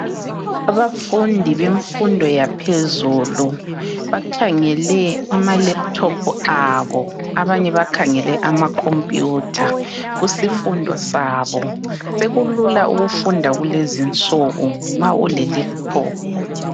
Abafundi bemfundo yaphezulu bakhangele amalaptop abo abanye bakhangele ama computer kusifundo sabo sekulula ukufunda kulezinsuku nxa ule laptop.